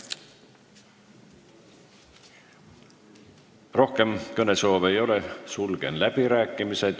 Rohkem kõnesoove ei ole, sulgen läbirääkimised.